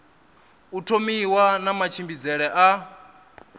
u thomiwa na matshimbidzele a